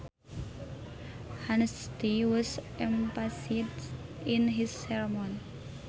Honesty was emphasised in his sermon